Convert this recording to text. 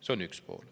See on üks pool.